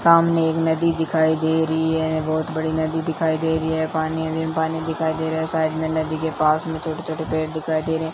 सामने एक नदी दिखाई दे रही है बहुत बड़ी नदी दिखाई दे रही है पानी में पानी दिखाई दे रहा है साइड में नदी के पास में छोटे-छोटे पेड़ दिखाई दे रहे हैं।